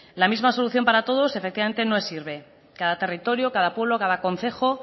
la misma solución para todos efectivamente no sirve cada territorio cada pueblo casa concejo